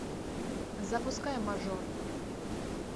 запускай мажор